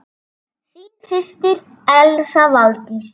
Þín systir, Elsa Valdís.